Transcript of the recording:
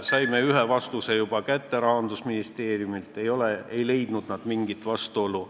Saime ühe vastuse Rahandusministeeriumilt, nad ei leidnud mingit vastuolu.